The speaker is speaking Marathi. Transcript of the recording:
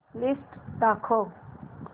लिस्ट दाखव